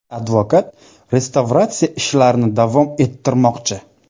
Advokat restavratsiya ishlarini davom ettirmoqchi.